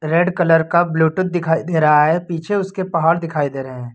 Red colour का bluetooth दिखाई दे रहा है पीछे उसके पहाड़ दिखाई दे रहे हैं।